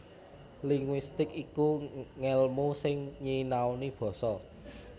Linguistik iku ngèlmu sing nyinaoni basa